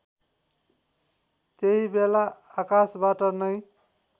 त्यहीबेला आकाशबाट नै